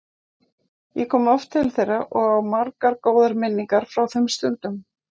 Ég kom oft til þeirra og á margar góðar minningar frá þeim stundum.